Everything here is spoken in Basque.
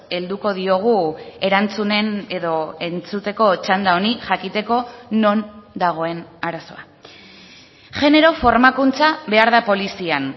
helduko diogu erantzunen edo entzuteko txanda honi jakiteko non dagoen arazoa genero formakuntza behar da polizian